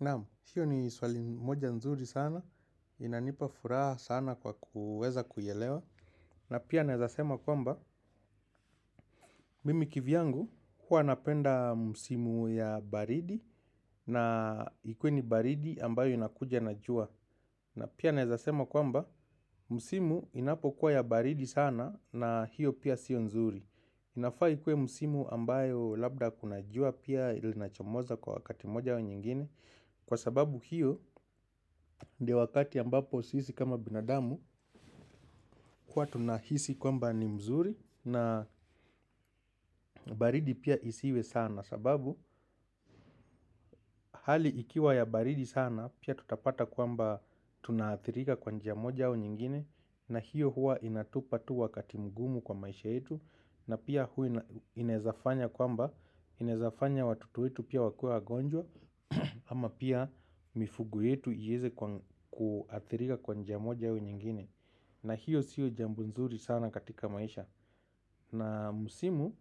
Naamu, hiyo ni swali moja nzuri sana. Inanipa furaha sana kwa kuweza kuyelewa. Na pia nezasema kwamba, mimi kivyangu huwa napenda musimu ya baridi na ikuwe ni baridi ambayo inakuja na jua. Na pia nezasema kwamba, musimu inapo kuwa ya baridi sana na hiyo pia sio nzuri. Inafa ikue musimu ambayo labda kunajua pia ilinachomoza kwa wakati moja au nyingine. Kwa sababu hiyo ndio wakati ambapo sisi kama binadamu. Kuwa tunahisi kwamba ni mzuri na baridi pia isiwe sana. Sababu hali ikiwa ya baridi sana pia tutapata kwamba tunathirika kwanjia moja au nyingine. Na hiyo hua inatupa tu wakati mgumu kwa maisha yetu. Na pia hui inezafanya kwamba inezafanya watoto wetu pia wakue agonjwa ama pia mifugo yetu iyeze kuathirika kwa njia moja au nyingine. Na hiyo siyo jambo nzuri sana katika maisha. Na msimu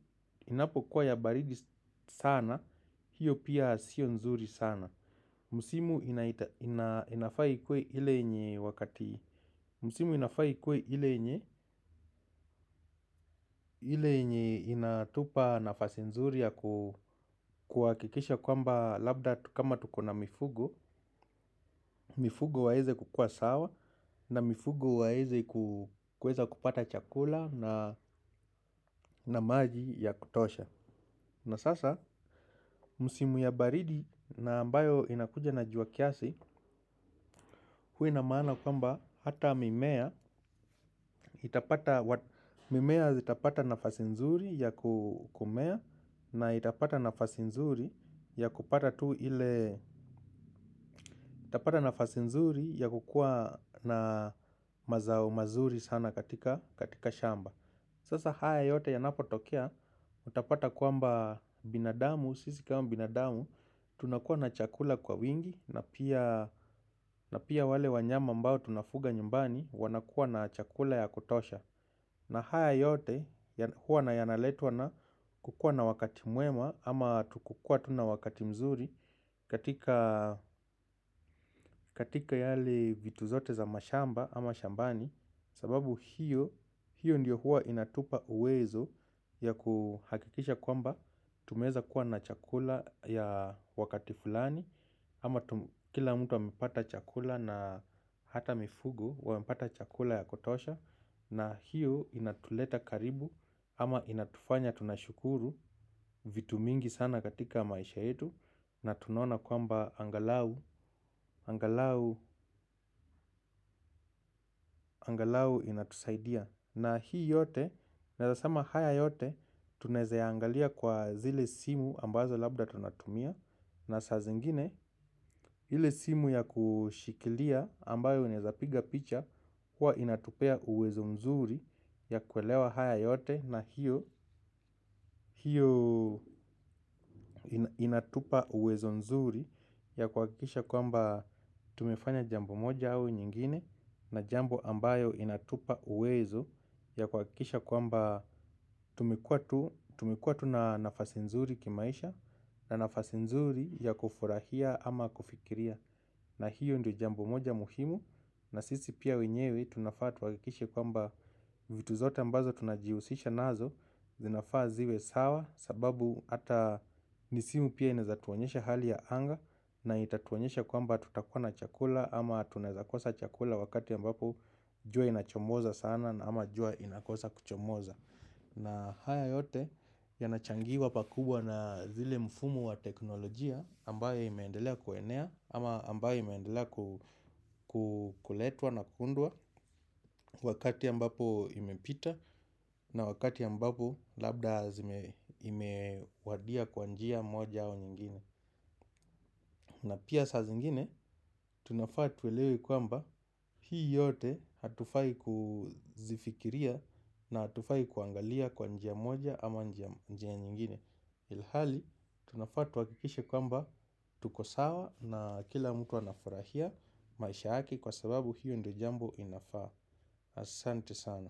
inapo kuwa ya baridi sana. Hiyo pia sio nzuri sana. Misimu inafaa ikuwe ile yenye wakati musimu inafai kwe ile yenye. Ile nye inatupa nafasi nzuri ya kwakikisha kwamba labda kama tukona mifugo mifugo waeze kukuwa sawa na mifugo waeze kueza kupata chakula na maji ya kutosha. Na sasa, msimu ya baridi na ambayo inakuja na jua kiasi, huwa ina maana kwamba hata mimea, mimea zitapata nafasi nzuri ya kumea na itapata nafasi nzuri ya kupata tu ile itapata nafasi nzuri ya kukuwa na mazao mazuri sana katika shamba. Sasa haya yote yanapo tokea utapata kwamba binadamu, sisi kama binadamu. Tunakuwa na chakula kwa wingi na pia wale wanyama ambao tunafuga nyumbani. Wanakuwa na chakula ya kutosha. Na haya yote huwa yanaletwa na kukua na wakati mwema ama kukua tu na wakati mzuri katika katika yale vitu zote za mashamba ama shambani. Sababu hiyo hiyo ndiyo huwa inatupa uwezo ya kuhakikisha kwamba tumeeza kuwa na chakula ya wakati fulani. Ama kila mtu wamepata chakula na hata mifugo wamepata chakula ya kutosha na hiyo inatuleta karibu ama inatufanya tunashukuru vitu mingi sana katika maisha yetu na tunaona kwamba angalau, angalau, angalau inatusaidia na hii yote, naez sema haya yote tunaeza angalia kwa zile simu ambazo labda tunatumia na saa zingine, hile simu ya kushikilia ambayo inezapiga picha huwa inatupea uwezo mzuri ya kuelewa haya yote na hiyo inatupa uwezo mzuri ya kwakikisha kwamba tumefanya jambo moja au nyingine na jambo ambayo inatupa uwezo ya kwakikiisha kwamba tumekuwa tuna nafasi mzuri kimaisha na nafasi mzuri ya kufurahia ama kufikiria. Na hiyo ndo jambo moja muhimu na sisi pia wenyewe tunafaa tuakikishe kwamba vitu zote ambazo tunajiusisha nazo. Zinafaa zive sawa sababu ata. Misimu pia inaeza tuonesha hali ya anga na itatuonesha kwamba tutakuwa na chakula. Ama tunaeza kosa chakula wakati ambapo jua inachomoza sana ama jua inakosa kuchomoza. Na haya yote yanachangiwa pakubwa na zile mfumo wa teknolojia ambayo imeendelea kuenea ama ambayo imeandela kuletwa na kuundwa wakati ambapo imepita na wakati ambapo labda imewadia kwa njia moja au nyingine. Na pia saa zingine, tunafaa tuelewe kwamba hii yote hatufai kuzifikiria na hatufai kuangalia kwanjia moja ama njia nyingine. Ilhali, tunafaa twakikishe kwamba tuko sawa na kila mtu wanafurahia maisha yake kwa sababu hiyo ndo jambo inafaa. Asante sana.